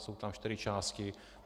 Jsou tam čtyři části.